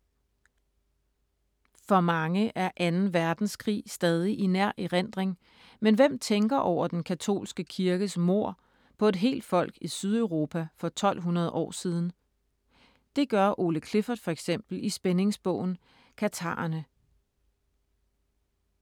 For mange er 2. verdenskrig stadig i nær erindring, men hvem tænker over den katolske kirkes mord på et helt folk i Sydeuropa for 1200 år siden? Det gør Ole Clifford for eksempel i spændingsbogen Katharerne.